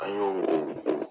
An y'o o o